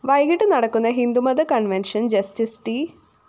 വൈകിട്ടു നടക്കുന്ന ഹിന്ദുമത convention‍ justice ട്‌